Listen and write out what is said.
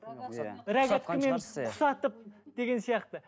құс атып деген сияқты